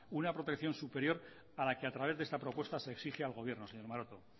una protección superior a la que a través de esta propuesta se exige al gobierno señor maroto o